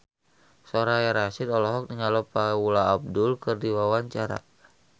Soraya Rasyid olohok ningali Paula Abdul keur diwawancara